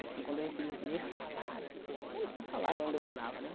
Assim, quando eu recebi o primeiro salário, eu não tinha salário na onde eu morava, né?